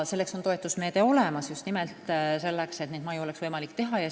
Toetusmeede on olemas, just nimelt selleks, et oleks võimalik neid maju teha.